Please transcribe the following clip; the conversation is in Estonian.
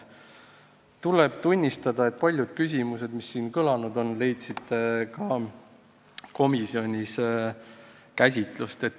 Tuleb tunnistada, et paljud küsimused, mis siin kõlanud on, leidsid ka komisjonis käsitlust.